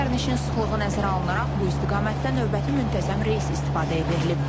Sərnişin sıxlığı nəzərə alınaraq bu istiqamətdə növbəti müntəzəm reys istifadəyə verilib.